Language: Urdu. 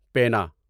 پینا